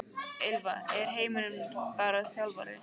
Ylfa: Er Heimir bara þjálfari?